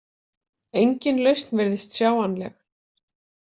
Engin lausn virðist sjáanleg.